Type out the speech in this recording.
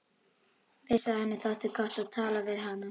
Vissi að henni þótti gott að tala við hana.